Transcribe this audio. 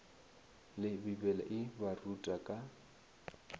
le bibele e baruta ka